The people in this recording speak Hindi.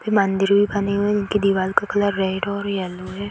मंदिर भी बनी हुई है इनकी दीवाल का कलर रेड और येल्लो है।